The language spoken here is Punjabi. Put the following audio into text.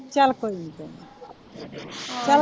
ਚੱਲ ਕੋਈ ਨਹੀਂ ਕੋਈ ਨਹੀਂ .